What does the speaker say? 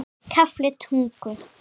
KAFLI TUTTUGU